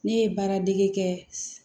Ne ye baara dege kɛ